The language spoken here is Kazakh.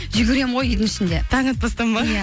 жүгіремін ғой үйдің ішінде таң атпастан ба